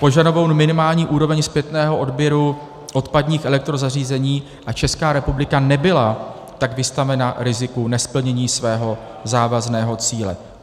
Požadovanou minimální úroveň zpětného odběru odpadních elektrozařízení, a Česká republika nebyla tak vystavena riziku nesplnění svého závazného cíle.